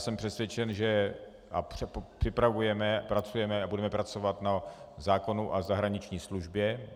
Jsem přesvědčen - a připravujeme, pracujeme a budeme pracovat na zákonu o zahraniční službě.